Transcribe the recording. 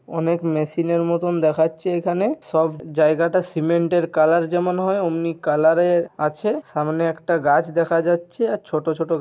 অনেক মেশিনের মতন দেখাচ্ছে এখানে সব জায়গাটা সিমেন্ট এর কালার যেমন হয় অমনি কালারের এর আছে সামনে একটি গাছ দেখা যাচ্ছে আর ছোট ছোট--